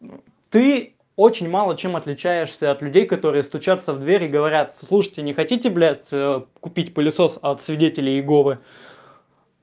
ты очень мало чем отличаешься от людей которые стучатся в двери и говорят слушайте не хотите блять купить пылесос от свидетелей иеговы